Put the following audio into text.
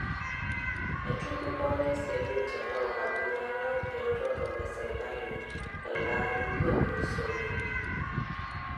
Etudupore sii ninche loo kakuyia lai eretoto e serkali teldaari otulusoyie.